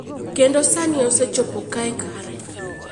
Kendo sani, osechopo kae kara.